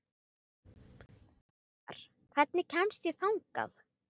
Ívar, hvernig kemst ég þangað?